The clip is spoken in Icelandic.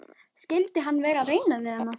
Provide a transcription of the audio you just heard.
Skyldi hann vera að reyna við hana?